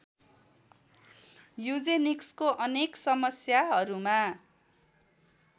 यूजेनिक्सको अनेक समस्याहरूमा